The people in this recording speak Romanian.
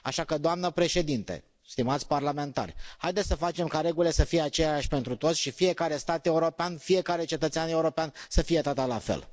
Așa că, doamnă președintă, stimați parlamentari, haideți să facem ca regulile să fie aceleași pentru toți și fiecare stat european, fiecare cetățean european să fie tratat la fel.